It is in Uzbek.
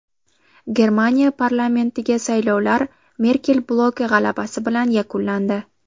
Germaniya parlamentiga saylovlar Merkel bloki g‘alabasi bilan yakunlandi.